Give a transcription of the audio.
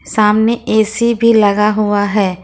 सामने ए_सी भी लगा हुआ है।